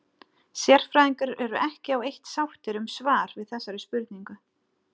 Sérfræðingar eru ekki á eitt sáttir um svar við þessari spurningu.